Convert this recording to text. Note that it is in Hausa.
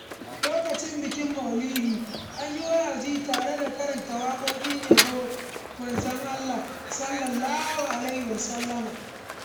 Lokacin bikin Mauludi, an yi wa’azi tare da karanta waƙoƙin yabon Manzon Allah (SAW)